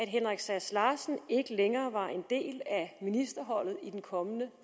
henrik sass larsen ikke længere var en del af ministerholdet i den kommende